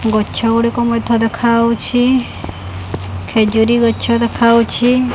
ଗଛ ଗୁଡ଼ିକ ମଧ୍ୟ ଦେଖାଆଉଛି ଖେଜୁରୀ ଗଛ ଦେଖାଆଉଛି।